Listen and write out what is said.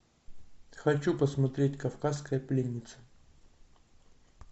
хочу посмотреть кавказская пленница